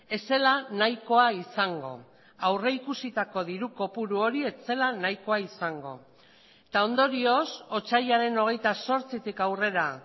ez zela nahikoa izango aurrikusitako diru kopuru hori ez zela nahikoa izango eta ondorioz otsailaren hogeita zortzitik aurrera